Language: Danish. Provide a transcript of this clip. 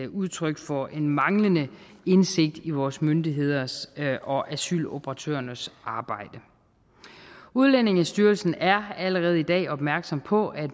udtryk for en manglende indsigt i vores myndigheders og asyloperatørernes arbejde udlændingestyrelsen er allerede i dag opmærksom på at